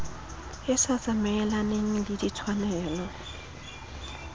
e sa tsamaelaneng le ditshwanelo